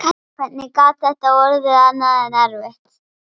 hvernig gat þetta orðið annað en erfitt?